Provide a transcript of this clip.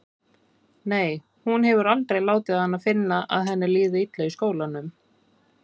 Nei, hún hefur aldrei látið hana finna að henni líði illa í skólanum.